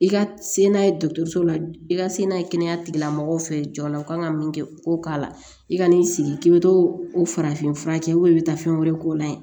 I ka se n'a ye dɔkɔtɔrɔso la i ka se n'a ye kɛnɛya tigilamɔgɔw fɛ jɔn la u kan ka min kɛ k'o k'a la i ka n'i sigi k'i bɛ to o farafinfura kɛ i bɛ taa fɛn wɛrɛ k'o la yen